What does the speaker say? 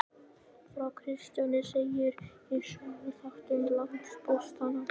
Frá Kristjáni segir í Söguþáttum landpóstanna.